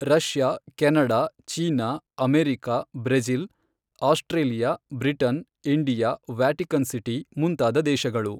Russia, Canada, China, America, Brazil, Australia, Britain, India, Vatican city, ಮುಂತಾದ ದೇಶಗಳು